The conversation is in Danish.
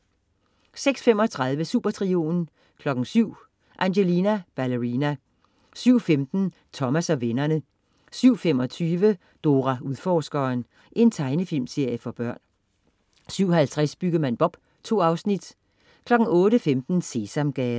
06.35 Supertrioen 07.00 Angelina Ballerina 07.15 Thomas og vennerne 07.25 Dora Udforskeren. Tegnefilmserie for børn 07.50 Byggemand Bob 2 Afsnit 08.15 Sesamgade